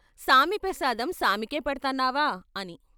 సామి పెసాదం సామికే పెడ్తన్నావా అని?